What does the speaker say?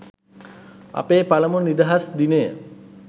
අපේ පළමු නිදහස් දිනය